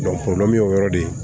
y'o yɔrɔ de ye